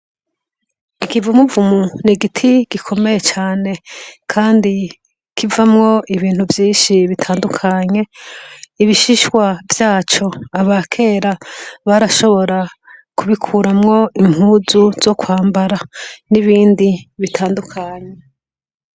Igivumuvumu ni giti gikomeye cane, kandi kivamwo ibintu vyinshi bitandukanye ibishishwa vyaco aba kera barashobora kubikuramwo impuzu zo kwambara n'ibindi bitandukanye.